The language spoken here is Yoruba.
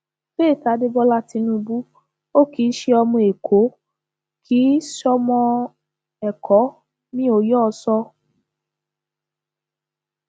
faith adébólà tinubu ò kì í ṣe ọmọ èkó kì í ṣọmọ ẹkọ mi ò yọ ọ sọ